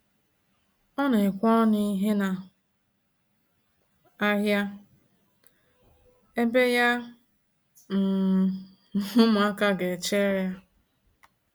Ọ na ekwe ọnụ ihe na ahịa, ebe ya um na ụmụaka ga echere ya